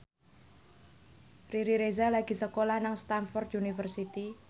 Riri Reza lagi sekolah nang Stamford University